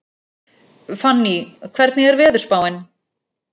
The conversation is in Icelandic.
Fanný, hvernig er veðurspáin?